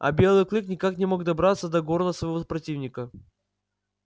а белый клык никак не мог добраться до горла своего противника